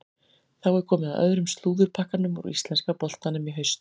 Þá er komið að öðrum slúðurpakkanum úr íslenska boltanum í haust.